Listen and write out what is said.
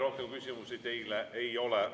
Rohkem küsimusi teile ei ole.